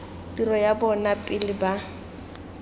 tiro ya bona pele ba